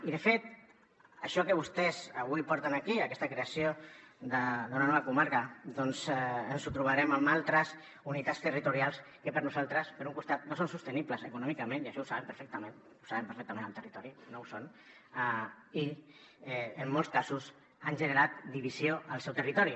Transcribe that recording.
i de fet això que vostès avui porten aquí aquesta creació d’una nova comarca doncs ens ho trobarem amb altres unitats territorials que per nosaltres per un costat no són sostenibles econòmicament i això ho saben perfectament ho saben perfectament al territori no ho són i en molts casos han generat divisió al seu territori